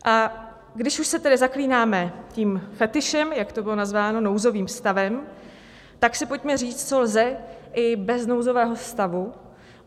A když už se tedy zaklínáme tím fetišem, jak to bylo nazváno, nouzovým stavem, tak si pojďme říct, co lze i bez nouzového stavu.